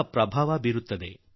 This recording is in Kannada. ಅದು ಬದಲಾಗುತ್ತಲೇ ಇರುತ್ತದೆ